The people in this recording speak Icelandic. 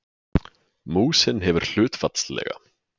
Músin hefur hlutfallslega